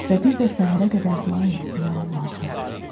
Və bir də səhərə qədər dua etdiyi Allahı.